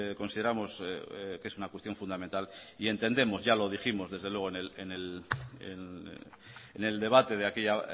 consideramos que es una cuestión fundamental y entendemos ya lo dijimos desde luego en el debate de aquella